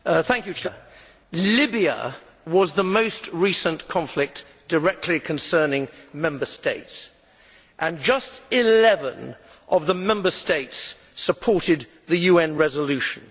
Mr President, Libya was the most recent conflict directly concerning Member States, and just 11 of the Member States supported the UN resolution.